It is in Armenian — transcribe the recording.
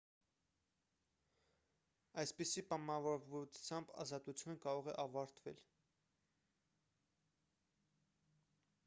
այսպիսի պայմանավորվածությամբ ազատությունը կարող է ավարտվել